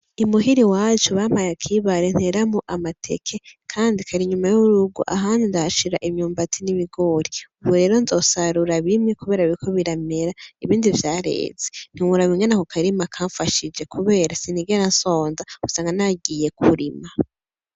I muhira iwacu bampaye akibare nteramwo amateke, Kandi Kar’inyuma y’urugo, ahandi ndahashira imyumbati n’ibigori. Ubu rero nzosarura bimwe kubera biriko biramera , ibindi vyareze. Ntiworaba ingene ako karima kanfashije ,kubera sinigera nsonza usanga nagiye kurima.